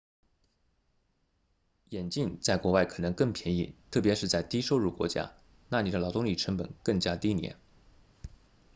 眼镜在国外可能更便宜特别是在低收入国家那里的劳动力成本更加低廉